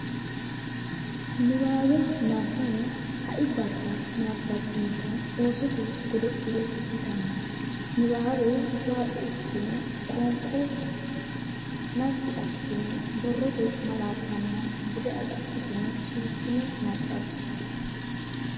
Niwaawe Nabbawa Sai barra nabbabbinita Oosote Godo le yitanno niwaawe waaxo ikkitine qoonqo naggi assitine borrote malaattanna bude agadhitine suwissine nabbabbe.